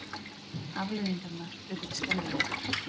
Afleiðingarnar urðu skelfilegar.